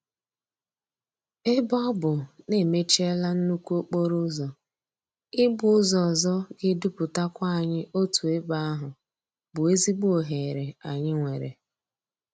Ebe ọ bụ na-emechiela nnukwu okporo ụzọ, ị gba ụzọ ọzọ ga-eduputakwa anyị otu ebe ahụ bụ ezigbo oghere anyị nwere.